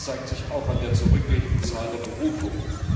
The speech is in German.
Das zeigt sich auch an der zurückgehenden Zahl der Berufungen.